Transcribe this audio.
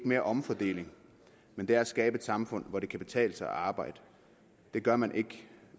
mere omfordeling men er at skabe et samfund hvor det kan betale sig at arbejde det gør man ikke